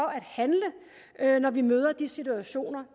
at handle når vi møder de situationer